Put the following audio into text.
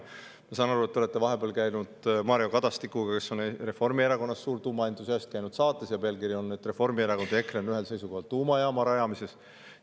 Ma saan aru, et te olete vahepeal Mario Kadastikuga, kes on suur tuumaentusiast Reformierakonnast, käinud saates ja pealkiri oli, et Reformierakond ja EKRE on ühel seisukohal tuumajaama rajamises.